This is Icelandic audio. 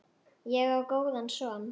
Ég á góðan son.